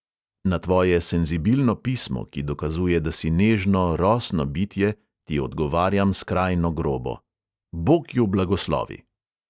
Na tvoje senzibilno pismo, ki dokazuje, da si nežno, rosno bitje, ti odgovarjam skrajno grobo: bog ju blagoslovi!